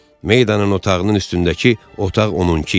Maydanın otağının üstündəki otaq onunki idi.